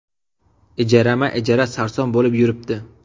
Ijarama-ijara sarson bo‘lib yuribdi.